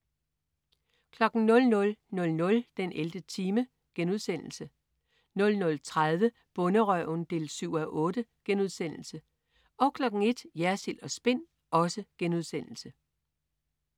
00.00 den 11. time* 00.30 Bonderøven 7:8* 01.00 Jersild & Spin*